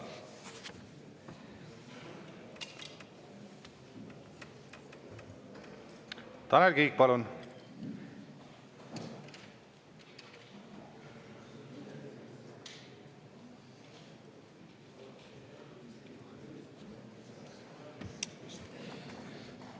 Tanel Kiik, palun!